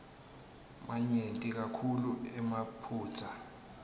manyenti kakhulu emaphutsa